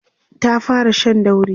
ta fara Shan dauri